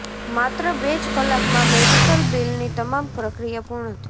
માત્ર બે જ કલાકમાં મેડિકલ બિલની તમામ પ્રક્રિયા પૂર્ણ થઈ